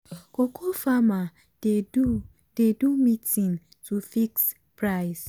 cocoa farmer dey do dey do meeting to fix price.